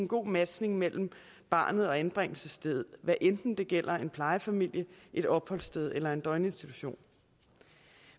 god matching mellem barnet og anbringelsesstedet hvad enten det gælder en plejefamilie et opholdssted eller en døgninstitution